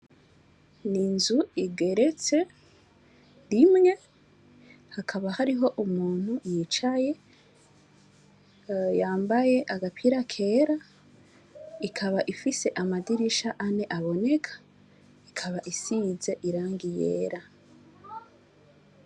Inzu igeretse rimwe hakaba hariho umuntu yicaye yambaye agapira kera ikaba iri amadirisha ane aboneka ikaba isize irangi yera.